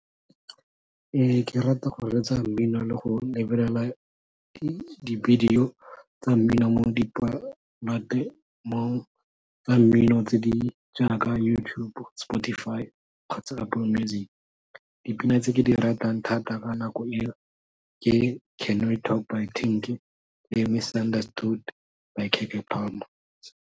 Ke rata go reetsa mmino le go lebelela di video tsa mmino mo di tsa mmino tse di jaaka YouTube, Spotify kgotsa Apple Music, dipina tse ke di ratang thata ka nako e o ke can we talk by Tank, engwe by .